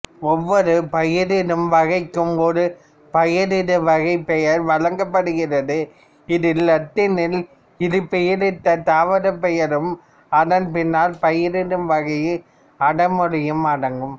ஒவ்வொரு பயிரிடும்வகைக்கும் ஒரு பயிரிடுவகைப்பெயர் வழங்கப்படுகிறது இதில் இலத்தினில் இருபெயரீட்டுத் தாவரப் பெயரும் அதன் பின்னால் பயிரிடும்வகையின் அடைமொழியும் அடங்கும்